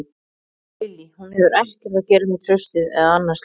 Lillý: Hún hefur ekkert að gera með traustið eða annað slíkt?